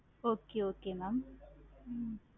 okay okay mam hmm